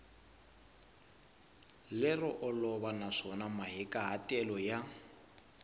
lero olova naswona mahikahatelo ya